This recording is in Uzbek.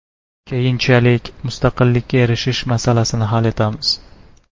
Keyinchalik mustaqillikka erishish masalasini hal etamiz.